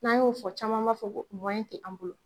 N'an y'o fɔ caman b'a fɔ ko mɔyɛn tɛ an bolo.